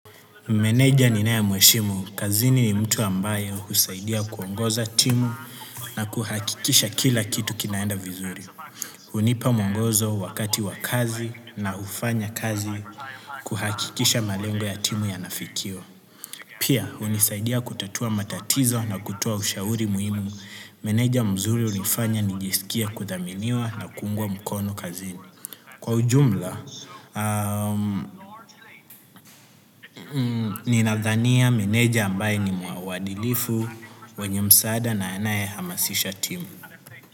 Meneja ninaye mheshimu. Kazini ni mtu ambaye husaidia kuongoza timu na kuhakikisha kila kitu kinaenda vizuri. Hunipa mwongozo wakati wa kazi na hufanya kazi kuhakikisha malengo ya timu yanafikiwa. Pia, hunisaidia kutatua matatizo na kutoa ushauri muhimu. Meneja mzuri hunifanya nijisikie kuthaminiwa na kuungwa mkono kazini. Kwa ujumla, ninadhania meneja ambaye ni mwadilifu, wenye msaada na anaye hamasisha timu.